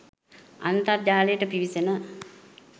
අන්තර්ජාලයට පිවිසෙන